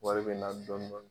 Wari bɛ n'a dɔn dɔɔnin